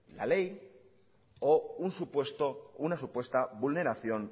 la ley o una supuesta vulneración